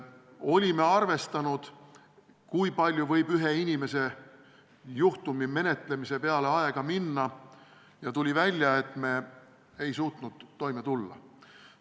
Olime arvestanud, kui palju võib ühe inimese juhtumi menetlemise peale aega minna, ja tuli välja, et me ei suutnud toime tulla.